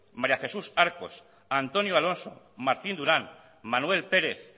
maría jesús arcos antonio alonso martín duran manuel pérez